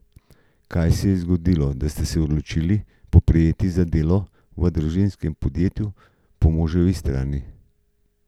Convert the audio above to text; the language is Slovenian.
Kaj se je zgodilo, da ste se odločili poprijeti za delo v družinskem podjetju po moževi strani?